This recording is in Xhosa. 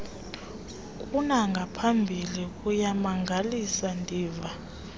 kunangaphambili kuyamangalisa ndiva